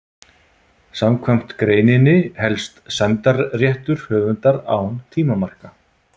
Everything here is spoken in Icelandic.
Samkvæmt greininni helst sæmdarréttur höfundar án tímamarka.